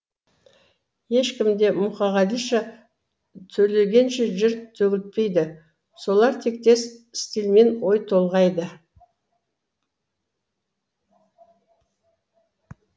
ешкім де мұқағалиша төлегенше жыр төгілтпейді солар тектес стильмен ой толғайды